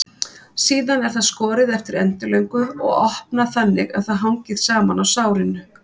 Síðan er það skorið eftir endilöngu og opnað þannig að það hangir saman á sárinu.